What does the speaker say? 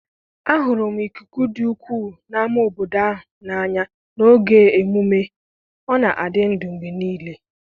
ahụrụ m ikuku dị egwu n 'ámá obodo ahụ n' anya n 'oge emume,ọ na-adị ndụ mgbe niile.